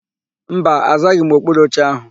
Mba, azaghị m okpuru oche áhụ̀.